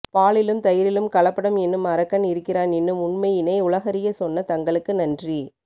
பாலிலும் தயிரிலும் கலப்படம் என்னும் அரக்கன் இருக்கிறான் என்னும் உண்மையினை உலகறிய சொன்ன தங்களுக்கு நன்றி